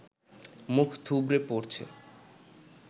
মুখ থুবড়ে পড়ছে